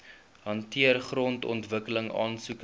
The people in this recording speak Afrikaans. hanteer grondontwikkeling aansoeke